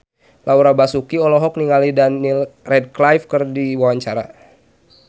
Laura Basuki olohok ningali Daniel Radcliffe keur diwawancara